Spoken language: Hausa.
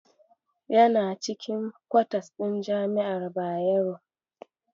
Yana cikin kwatas ɗin jami'ar Bayero.